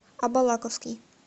абалаковский